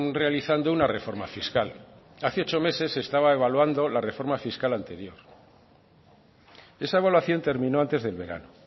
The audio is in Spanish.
realizando una reforma fiscal hace ocho meses se estaba evaluando la reforma fiscal anterior esa evaluación terminó antes del verano